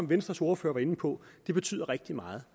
venstres ordfører var inde på betyder rigtig meget